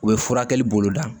U ye furakɛli boloda